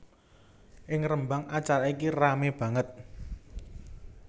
Ing Rembang acara iki ramé banget